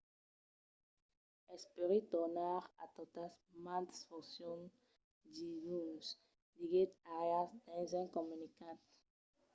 espèri tornar a totas mas foncions diluns, diguèt arias dins un comunicat